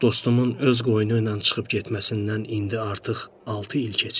Dostumun öz qoyunu ilə çıxıb getməsindən indi artıq altı il keçir.